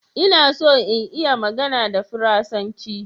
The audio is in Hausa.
Ina so in iya magana a Faransanci